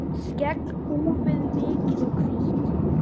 Skegg úfið, mikið og hvítt.